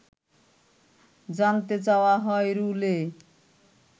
জানতে চাওয়া হয় রুলে